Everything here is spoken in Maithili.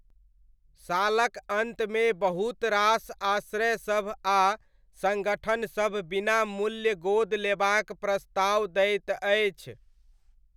सालक अन्तमे बहुत रास आश्रयसभ आ सङ्गठनसभ बिना मूल्य गोद लेबाक प्रस्ताव दैत अछि।